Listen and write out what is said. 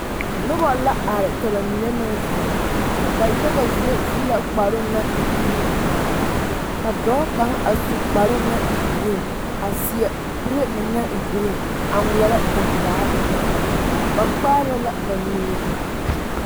Noba la are ka ba mine meŋ zeŋ ba yaga zie su la kparoo naŋ e buluu ŋmaara a ka dɔɔ kaŋa a su kparoo naŋ e geree a seɛ kuree meŋ naŋ e geree a ŋmeɛrɛ gaŋgaa ennɛ ba na kaara la ba nuure